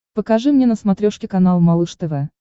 покажи мне на смотрешке канал малыш тв